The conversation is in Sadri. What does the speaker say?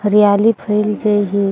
हरियाली फईल जे हे।